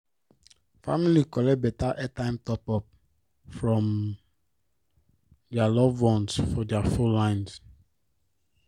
family collect better airtime top-up from their loved ones for their phone lines.